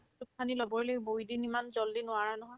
চব খিনি ল'বই লাগিব within ইমান jaldi নোৱাৰা নহয়